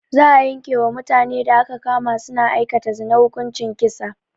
Za a yanke wa mutanen da aka kama su na aikata zina hukuncin kisa